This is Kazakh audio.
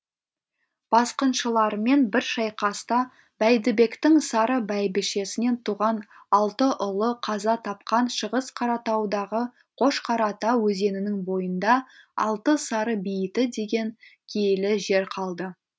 басқыншылармен бір шайқаста бәйдібектің сары бәйбішесінен туған алты ұлы қаза тапқан шығыс қаратаудағы қошқарата өзенінің бойында алты сары бейіті деген киелі жер қалды